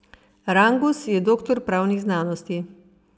Rangus je doktor pravnih znanosti.